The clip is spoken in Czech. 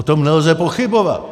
O tom nelze pochybovat.